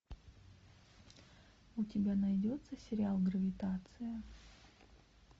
у тебя найдется сериал гравитация